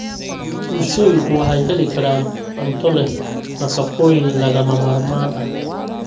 bulshooyinku waxay heli karaan cunto leh nafaqooyin lagama maarmaan ah.